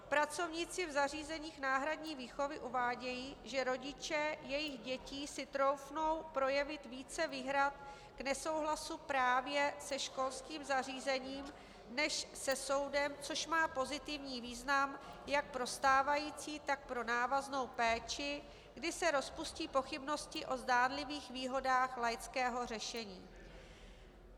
Pracovníci v zařízeních náhradní výchovy uvádějí, že rodiče jejich dětí si troufnou projevit více výhrad k nesouhlasu právě se školským zařízením než se soudem, což má pozitivní význam jak pro stávající, tak pro návaznou péči, kdy se rozpustí pochybnosti o zdánlivých výhodách laického řešení.